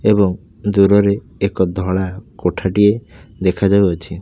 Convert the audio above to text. ଏବଂ ଦୂରରେ ଏକ ଧଳା କୋଠାଟିଏ ଦେଖାଯାଉଅଛି।